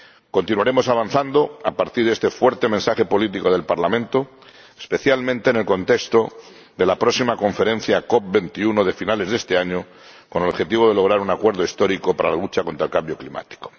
Continuaremos avanzando a partir de este fuerte mensaje político del Parlamento, especialmente en el contexto de la próxima Conferencia COP 21 de finales de este año, con el objetivo de lograr un acuerdo histórico para la lucha contra el cambio climático.